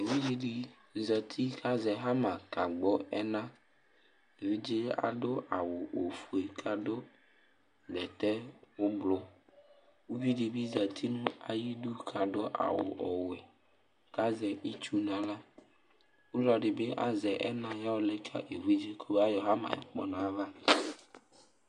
Evidze dɩ zati kʋ azɛ ɣama kagbɔ ɛna Evidze yɛ adʋ awʋ ofue kʋ bɛtɛ ʋblʋ Uvi dɩ bɩ zati nʋ ayidu kʋ adʋ awʋ ɔwɛ kʋ azɛ itsu nʋ aɣla Ɔlɔdɩ bɩ azɛ ɛna yɔalɛ ka evidze yɛ kɔmayɔ ɣama yɛ kpɔ nʋ ayava